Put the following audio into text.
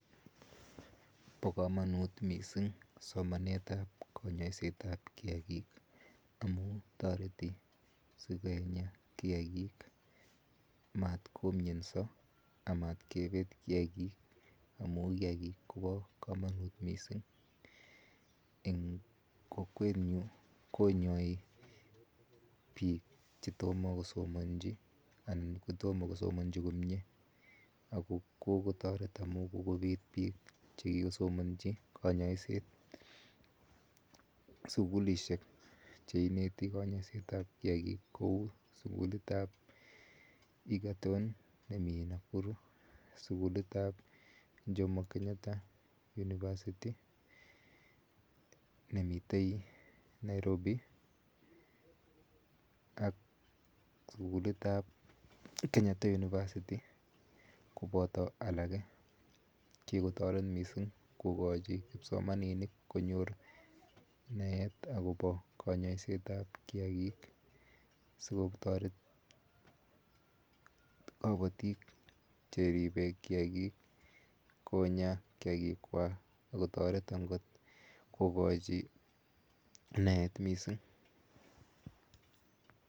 Bo komonut mising somanetab konyoisetaab kiagik amu toreti sikonya kiagik matkomianso amatkebet kiagik amu kiagik kobo komonut mising. Eng kokwetnyu konyoi biik che tomo kosomanji anan ko tomo kosomonji komie ako kokotoret amu kokobit biik chekikosomanji kanyoiset. Sukulishek cheineti kanyaisetab kiagik kou sukulitab Egerton nemi Nakuru, sukulitab Jomo Kenyatta University nemitei Nairobi ak sukulitab Kenyatta University koboto alake. Kikotoret mising kokochi kipsomaninik boroindo konyor naet akobo kanyoisetab kiagik sikotoret kapatik cheribe kiagik sikonya kiagikwa akotoret angot kokochi naet mising.